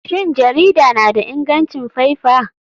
Shin jarida na da ingancin faifa?